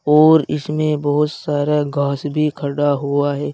और इसमें बहुत सारा घास भी खड़ा हुआ है।